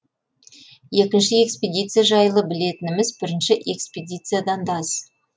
екінші экспедиция жайлы білетініміз бірінші экспедициядан да аз